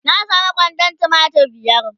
na samu kwandon tumatir biyar